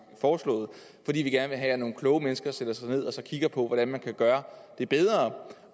foreslået fordi vi gerne vil have at nogle kloge mennesker sætter sig ned og kigger på hvordan man kan gøre det bedre